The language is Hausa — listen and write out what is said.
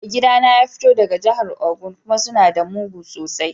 Mai gida na ya fito daga jihar Ogun kuma suna da mugu sosai.